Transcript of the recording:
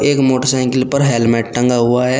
एक मोटरसाइकिल पर हेलमेट टंगा हुआ है।